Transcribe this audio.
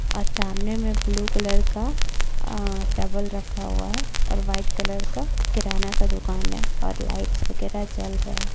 और सामने में ब्लू कलर का आ टेबुल रखा हुआ है और वाइट कलर का किराना का दुकान है और लाइटस वगेरह जल रहा है।